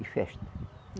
E festa.